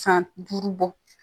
San duuru bɔ